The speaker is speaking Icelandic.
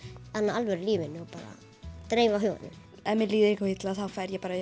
alvöru lífinu og bara dreifa huganum ef mér líður illa þá fer ég